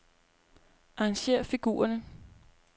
Arrangér figurerne.